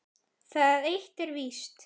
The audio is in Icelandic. Það eitt er víst.